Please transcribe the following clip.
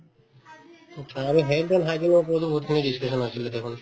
achcha আৰু health and hygiene ওপৰতো বহুতখিনি discussion হৈছিলে দেখোন